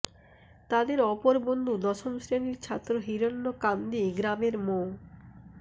তাদের অপর বন্ধু দশম শ্রেণির ছাত্র হিরোন্যকান্দি গ্রামের মো